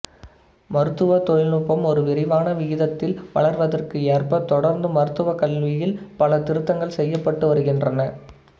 மருத்துவ தொழில்நுட்பம் ஒரு விரைவான விகிதத்தில் வளர்வதற்கு ஏற்ப தொடர்ந்து மருத்துவ கல்வியில் பல திருத்தங்கள் செய்யப்பட்டுவருகின்றன